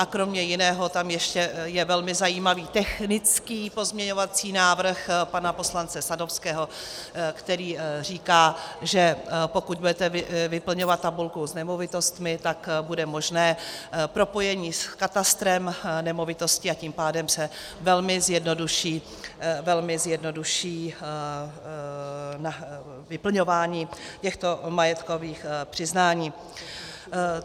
A kromě jiného tam ještě je velmi zajímavý technický pozměňovací návrh pana poslance Sadovského, který říká, že pokud budete vyplňovat tabulku s nemovitostmi, tak bude možné propojení s katastrem nemovitostí, a tím pádem se velmi zjednoduší vyplňování těchto majetkových přiznání.